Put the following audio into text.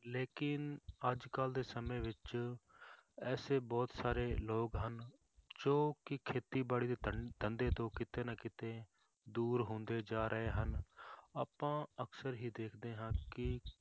ਲੇਕਿੰਨ ਅੱਜ ਕੱਲ੍ਹ ਦੇ ਸਮੇਂ ਵਿੱਚ ਐਸੇ ਬਹੁਤ ਸਾਰੇ ਲੋਕ ਹਨ, ਜੋ ਕਿ ਖੇਤੀਬਾੜੀ ਦੇ ਧੰ~ ਧੰਦੇ ਤੋਂ ਕਿਤੇ ਨਾ ਕਿਤੇ ਦੂਰ ਹੁੰਦੇ ਜਾ ਰਹੇ ਹਨ ਆਪਾਂ ਅਕਸਰ ਹੀ ਦੇਖਦੇ ਹਾਂ ਕਿ